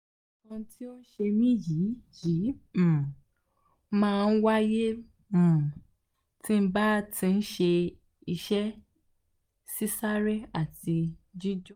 nkan ti o se mi yi yi um ma n waye um tí ba ti se ise sisare ati jijo